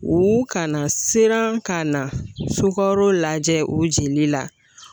U ka na siran ka na sukaro lajɛ o jeli la